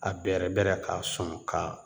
A bɛrɛ bɛrɛ k'a sɔn ka